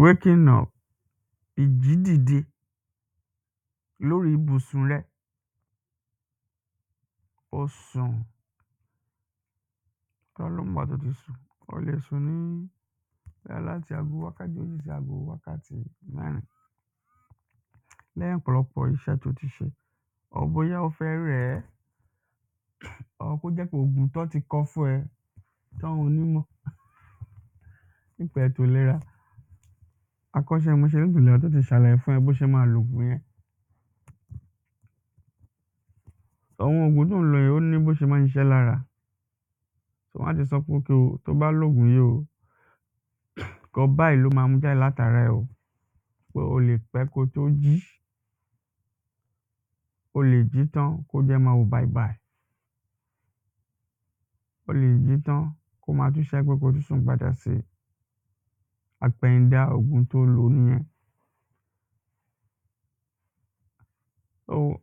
waking up, ìjí dìde lórí ibùsùn rẹ o sùn ọlọ́run ló mògbà tó ti sùn o lè suǹ ní bóyá láti ago wákàtí ó lè ṣe ago wákàtí mẹ́rin lẹ́yìn ọ̀pọ̀lọpọ̀ iṣẹ́ tó ti ṣe or bóyá ó fẹ́ rẹ̀ẹ́ or kó jẹ́ ògùn tán ti kọ fún ẹ tó nímọ̀ nípa ètò ìlera akọ́ṣẹ́mọṣẹ́ ètò ìlera tó ti ṣàlàyé fún ẹ bo ṣe máa lògùn yẹn àwọn ògùn to ń lò yẹn ó ní bó ṣe máa ṣiṣẹ́ lára tán bá ti sọ pé okay ò tobá lògùn yì ò ǹkan báyìí ló ma mú jáde láti ara ẹ ò pé o lè pẹ́ ko tó jí o lè jí tán kójú ẹ máa wò bàìbàì o lè jí tán kó máa tún ṣe ẹ́ ko tún sùn padà si àpẹ̀yìndà ògùn to lò nìyẹn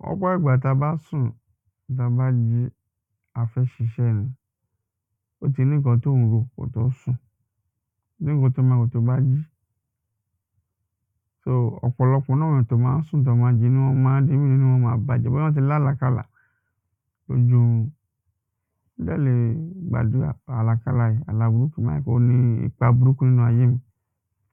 lọ́pọ̀ ìgbà ta bá sùn ta bá jí, a fẹ́ ṣiṣẹ́ ni ó ti ní ǹkan tí ó ń rò ko tó sùn, ó ní ǹkan tó ma rò tobá jí so ọ̀pọ̀lọpọ̀ náà wà tí wọn máa sùn tí wọ́n bá jí inú wọn máa dùn inú wọn máa bàjẹ́ bóyá wọ́n ti lálàákáàlá lójú orun, ó dẹ̀ le gbàdúrà àlákáàlá yẹn àlá burúkú báyẹn kó ní ipa burúkú láyé un